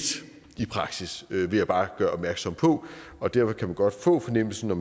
i praksis vil jeg bare gøre opmærksom på og derfor kan man godt få fornemmelsen af